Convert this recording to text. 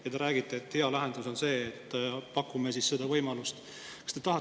Ja te räägite, et hea lahendus on see, et pakume seda võimalust!